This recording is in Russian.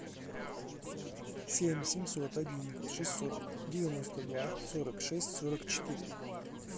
семь семьсот один шестьсот девяносто два сорок шесть сорок четыре